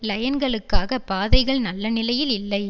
லயன்களுக்காக பாதைகள் நல்ல நிலையில் இல்லை